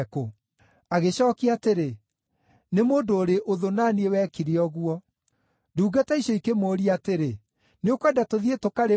“Agĩcookia atĩrĩ, ‘Nĩ mũndũ ũrĩ ũthũ na niĩ wekire ũguo.’ “Ndungata icio ikĩmũũria atĩrĩ, ‘Nĩũkwenda tũthiĩ, tũkarĩmunye?’